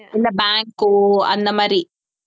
இல்ல bank ஓ அந்த மாதிரி